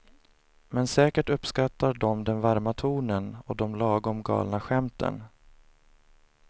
Men säkert uppskattar de den varma tonen och de lagom galna skämten.